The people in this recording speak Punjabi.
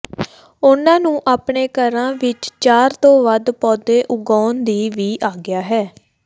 ਉਨ੍ਹਾਂ ਨੂੰ ਆਪਣੇ ਘਰਾਂ ਵਿਚ ਚਾਰ ਤੋਂ ਵੱਧ ਪੌਦੇ ਉਗਾਉਣ ਦੀ ਵੀ ਆਗਿਆ ਹੈ